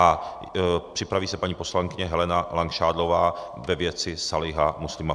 A připraví se paní poslankyně Helena Langšádlová ve věci Sáliha Muslima.